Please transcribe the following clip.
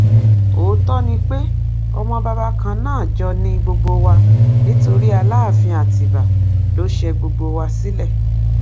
òótọ ni pé ọmọ bàbá kan náà jọ ni gbogbo wa nítorí aláàfin àtibá ló ṣe gbogbo wa sílẹ